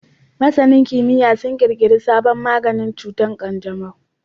Masanin kimiyya sun kirkiri sabon maganin cutar kanjamau